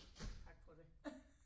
Tak for det